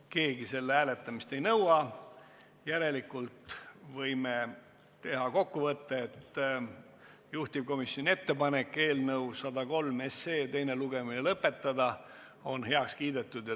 Keegi hääletamist ei nõua, järelikult võime teha kokkuvõtte, et juhtivkomisjoni ettepanek eelnõu 103 teine lugemine lõpetada on heaks kiidetud.